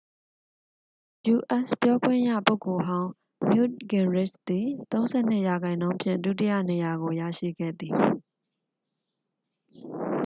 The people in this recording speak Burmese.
ယူအက်စ် ပြောခွင့်ရပုဂ္ဂိုလ်ဟောင်း နယူ့တ်ဂင်ရစ်ချ်သည် 32 ရာခိုင်နှုန်းဖြင့် ဒုတိယနေရာကို ရရှိခဲ့သည်